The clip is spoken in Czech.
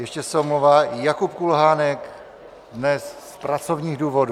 Ještě se omlouvá Jakub Kulhánek dnes z pracovních důvodů.